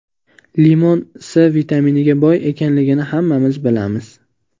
Limon C vitaminiga boy ekanligini hammamiz bilamiz.